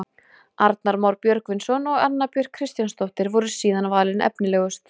Arnar Már Björgvinsson og Anna Björk Kristjánsdóttir voru síðan valin efnilegust.